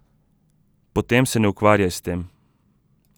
Potem se ne ukvarjaj s tem.